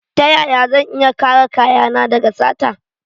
Ta yaya zan iya kare kayana daga sata?